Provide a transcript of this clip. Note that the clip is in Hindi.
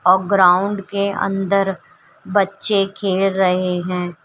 और ग्राउंड के अंदर बच्चे खेल रहे हैं।